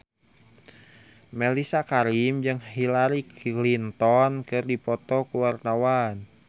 Mellisa Karim jeung Hillary Clinton keur dipoto ku wartawan